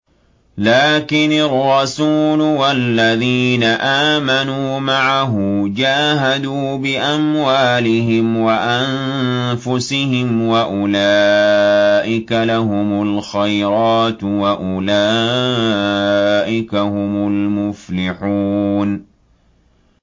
لَٰكِنِ الرَّسُولُ وَالَّذِينَ آمَنُوا مَعَهُ جَاهَدُوا بِأَمْوَالِهِمْ وَأَنفُسِهِمْ ۚ وَأُولَٰئِكَ لَهُمُ الْخَيْرَاتُ ۖ وَأُولَٰئِكَ هُمُ الْمُفْلِحُونَ